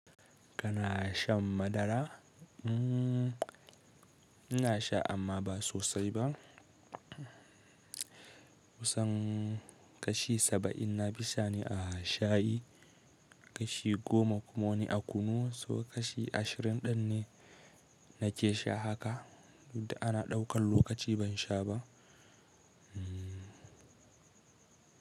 Kana shan madara? Ina sha amma ba sosai ba. Kusan kashi saba'in na fi sha ne a shayi, kashi goma kuma wani a kunu, so kashi ashirin ɗin ne nake sha haka. Tun da ana ɗaukan lokaci ban sha ba.